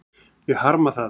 Ég harma það.